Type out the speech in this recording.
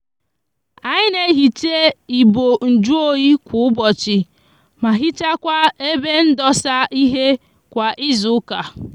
anyi n'ehicha ibo njuoyi kwa ubochi ma hichakwa ebe ndosa ihe kwa izuuka